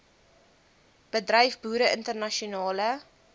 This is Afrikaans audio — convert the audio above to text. bedryf boere internasionale